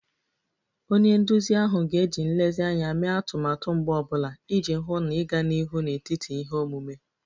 Onye nduzi ahụ ga-eji nlezianya mee atụmatụ mgbọ ọ bụla iji hụ na ịga n'ihu n'etiti ihe omume